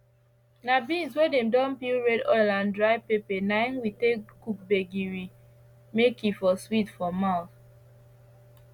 na beans wey dem don peel red oil and dry pepper na im we take dey cook gbegiri may e for sweet for mouth